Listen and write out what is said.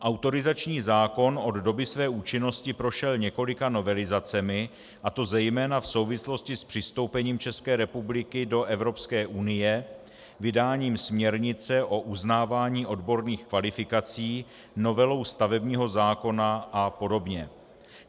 Autorizační zákon od doby své účinnosti prošel několika novelizacemi, a to zejména v souvislosti s přistoupením České republiky do Evropské unie vydáním směrnice o uznávání odborných kvalifikací, novelou stavebního zákona a podobně.